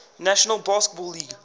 national basketball league